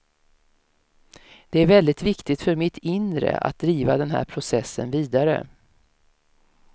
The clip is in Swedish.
Det är väldigt viktigt för mitt inre att driva den här processen vidare.